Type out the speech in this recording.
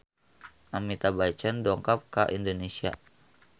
Amitabh Bachchan dongkap ka Indonesia